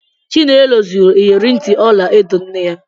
Chinelo zuru ịyerị ntị ọla edo nne ya.